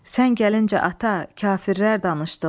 Sən gəlincə ata, kafirlər danışdılar: